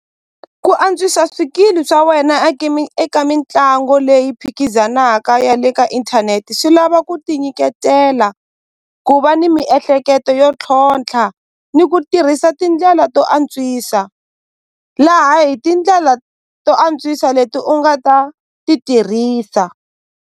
Ku antswisa swikili swa wena a eka mitlangu leyi phikizanaka ya le ka inthanete swi lava ku ti nyiketela ku va ni miehleketo yo tlhontlha ni ku tirhisa tindlela to antswisa laha hi tindlela to antswisa leti u nga ta ti tirhisa.